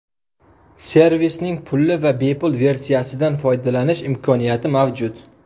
Servisning pulli va bepul versiyasidan foydalanish imkoniyati mavjud.